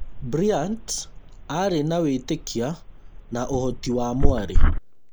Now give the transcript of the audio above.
Bryant aarĩ na wĩtĩkia na ũhoti wa mwarĩ